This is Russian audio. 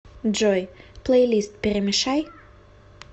джой плейлист перемешай